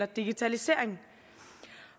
digitalisering